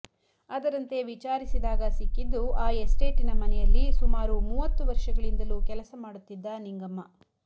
ಅದರಂತೆ ವಿಚಾರಿಸಿದಾಗ ಸಿಕ್ಕಿದ್ದು ಆ ಎಸ್ಟೇಟಿನ ಮನೆಯಲ್ಲಿ ಸುಮಾರು ಮೂವತ್ತು ವರ್ಷಗಳಿಂದಲೂ ಕೆಲಸ ಮಾಡುತ್ತಿದ್ದ ನಿಂಗಮ್ಮ